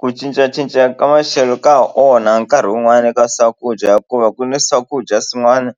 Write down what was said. Ku cincacinca ka maxelo ka onha nkarhi wun'wani eka swakudya hikuva ku ni swakudya swin'wana